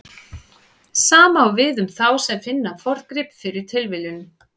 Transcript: Sama á við um þá sem finna forngrip fyrir tilviljun.